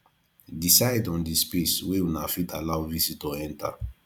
decide on di space wey una fit allow visitior enter